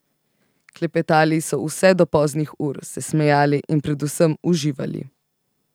Klepetali so vse do poznih ur, se smejali in predvsem uživali.